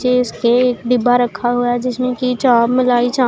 नीचे इसके एक डिब्बा रखा हुआ है जिसमें कि चाप मलाई चां--